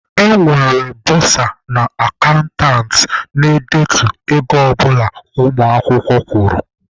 E nwere bọsa/akantant na-edetu ego ọ bụla ụmụ akwụkwọ kwụrụ.